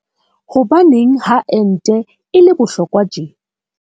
Hobaneng ha ente e le bohlokwa tje?